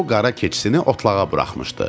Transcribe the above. O qara keçisini otlağa buraxmışdı.